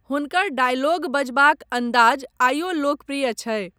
हुनकर डायलॉग बजबाक अंदाज आइयो लोकप्रिय छै।